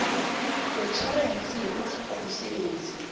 wetjhorense yokutlhoga umsebenzi